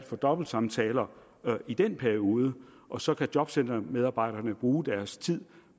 for dobbeltsamtaler i den periode og så kan jobcentermedarbejderne bruge deres tid